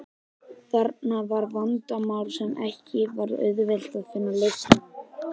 Þarna var vandamál sem ekki var auðvelt að finna lausn á.